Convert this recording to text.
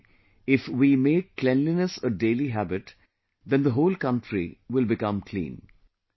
Similarly, if we make cleanliness a daily habit, then the whole country will become clean